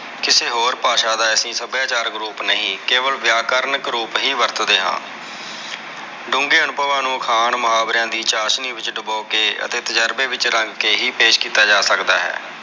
ਕਿਸੇ ਹੋਰ ਭਾਸ਼ਾ ਦਾ ਐਸੀ ਸੱਭਿਆਚਾਰ group ਨਹੀਂ, ਕੇਵਲ ਵ੍ਯਾਕਰਨ ਰੂਪ ਹੀ ਵਰਤਦੇ ਆ ਡੂੰਗੇ ਅਨੂਭਵਾਂ ਨੂੰ ਅਖਾਣ ਮੁਹਾਵਰਿਆਂ ਦੀ ਚਾਸ਼ਨੀ ਵਿਚ ਡੁਬੋ ਕੇ ਅਤੇ ਤੁਜਰਬੇ ਵਿਚ ਰੰਗ ਕੇ ਹੀ ਪੇਸ਼ ਕਿੱਤਾ ਜਾ ਸਕਦਾ ਹੈ।